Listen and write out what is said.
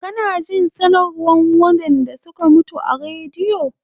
Kana jin sanarwan waɗanɗa suka mutu a radio